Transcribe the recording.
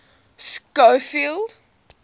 schofield